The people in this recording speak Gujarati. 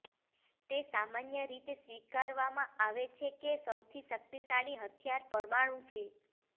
તે સામાન્ય રીતે સ્વીકારવામાં આવે છે કે સૌથી શક્તિશાળી હથિયાર પરમાણુ છે